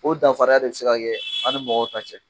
O danfaraya de se ka kɛ an ni mɔgɔw ta cɛ